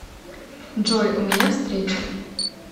джой у меня встреча